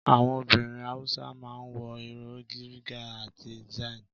Àwọn obìnrin Hausa ma ń wọ ìró Riga àti Zanne